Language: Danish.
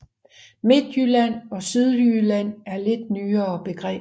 Midtjylland og Sydjylland er lidt nyere begreber